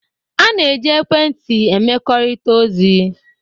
A na-eji ekwentị emekọrịta ozi,